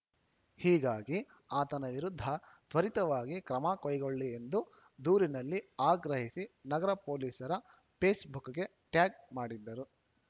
ಹೀಗಾಗಿ ಆತನ ವಿರುದ್ಧ ತ್ವರಿತವಾಗಿ ಕ್ರಮ ಕೈಗೊಳ್ಳಿ ಎಂದು ದೂರಿನಲ್ಲಿ ಆಗ್ರಹಿಸಿ ನಗರ ಪೊಲೀಸರ ಫೇಸ್‌ಬುಕ್‌ಗೆ ಟ್ಯಾಗ್‌ ಮಾಡಿದ್ದರು